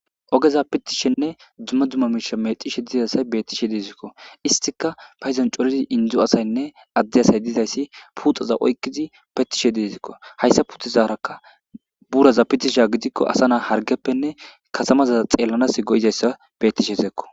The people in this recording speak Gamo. Ogeza pitishenne dzumme dumma miisha mexishe dizasay bettishe dizikko istika payizan coridi indzu asaynne adde asay dizayssi puxaza oykkizi pettishe dizekko hayssa putizaarakka buraza pitisha gidikko asa naa hargeppenne kasamaza xeellanas go'izayssa bettishe zeekko